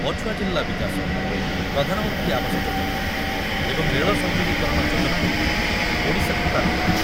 ପଛୁଆ ଜିଲ୍ଲା ବିକାଶ, ପ୍ରଧାନମନ୍ତ୍ରୀ ଆବସ ଯୋଜନା ଏବଂ ରେଳ ସଂଯୋଗୀକରଣ ଯୋଜନାରେ ଓଡ଼ିଶାକୁ ପ୍ରାଧାନ୍ୟ ।